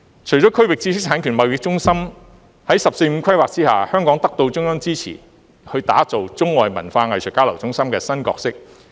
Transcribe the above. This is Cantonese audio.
除了建設區域知識產權貿易中心外，在"十四五"規劃下香港也得到中央支持，要打造中外文化藝術交流中心的新角色。